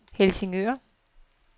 Helsingør